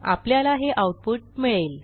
आपल्याला हे आऊटपुट मिळेल